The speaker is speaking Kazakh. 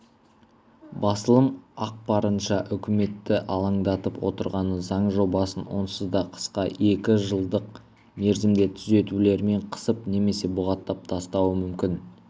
басылым ақпарынша үкіметті алаңдатып отырғаны заң жобасын онсыз да қысқа екі жылдық мерзімде түзетулермен қысып немесе бұғаттап тастауы мүмкін